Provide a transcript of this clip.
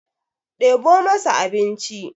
ɗebo masa abinci!